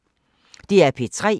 DR P3